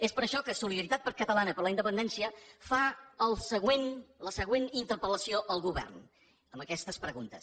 és per això que solidaritat catalana per la independència fa la següent interpel·lació al govern amb aquestes preguntes